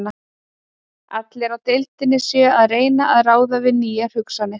Allir á deildinni séu að reyna að ráða við nýjar hugsanir.